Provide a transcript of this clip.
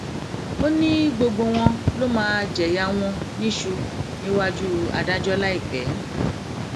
ó ní gbogbo wọn ló máa jẹyàn wọn níṣu níwájú adájọ láìpẹ